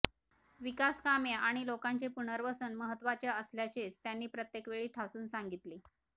विकासकामे आणि लोकांचे पुनर्वसन महत्त्वाचे असल्याचेच त्यांनी प्रत्येकवेळी ठासून सांगितले